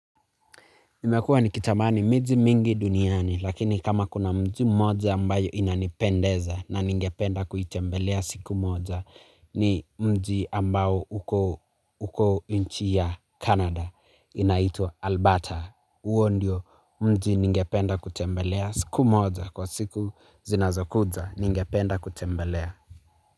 Nimekua nikitamani miji mingi duniani lakini kama kuna mji mmoja ambayo inanipendeza na ningependa kuitembelea siku moja ni mji ambao uko uko inchi ya Kanada inaitwa Alberta. Uo ndio mji ningependa kutembelea siku moja kwa siku zinazokuja ningependa kutembelea.